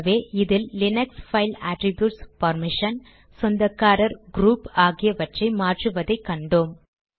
ஆகவே இதில் Linux file attributes permission சொந்தக்காரர் க்ரூப் ஆகியவற்றை மாற்றுவதை கண்டோம்